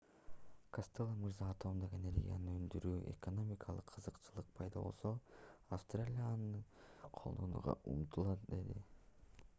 костелло мырза атомдук энергияны өндүрүүдө экономикалык кызыкчылык пайда болсо австралия аны колдонууга умтулат деди